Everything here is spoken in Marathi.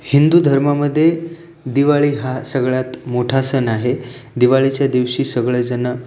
हिंदू धर्मा मध्ये दिवाळी हा सगळ्यात मोठा सन आहे दिवाळीच्या दिवशी सगळे जन--